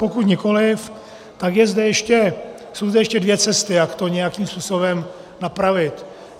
Pokud nikoliv, tak jsou zde ještě dvě cesty, jak to nějakým způsobem napravit.